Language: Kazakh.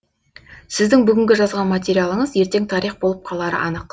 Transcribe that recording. сіздің бүгінгі жазған материалыңыз ертең тарих болып қалары анық